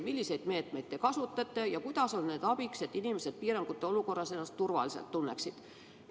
Milliseid meetmeid te kasutate ja kuidas on need abiks, et inimesed piirangute olukorras ennast turvaliselt tunneksid?